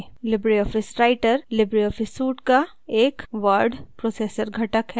Libre office writer LibreOffice suite का एक word processor घटक है